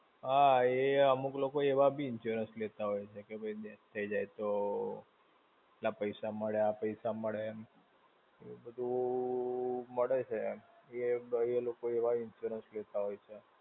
હા, અમુક લોકો એવા બી insurance લેતા હોય છે, કે ભઈ death થઇ જાય તો, આટલા પૈસા મળે, આ પૈસા મળે. એવું બધું મળે છે. એ બી એ લોકો એવા insurance લેતા હોય છે.